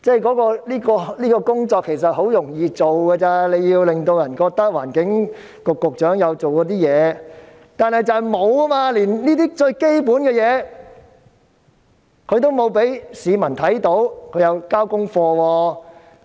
其實，這些工作很容易處理，令市民覺得環境局局長有做事，但局長連這些最基本的事情也沒有做，讓市民看到他有交功課。